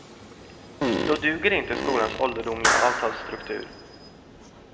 Då duger inte skolans ålderdomliga avtalsstruktur.